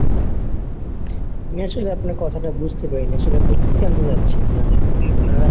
আসলে আপনার কথাটা বুঝতে পারিনি. আসলে আপনি কি জানতে চাচ্ছেন ওনাদের ব্যাপারে. ওনারা